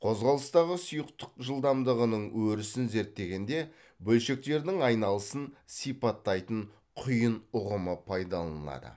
қозғалыстағы сұйықтық жылдамдығының өрісін зерттегенде бөлшектердің айналысын сипаттайтын құйын ұғымы пайдаланылады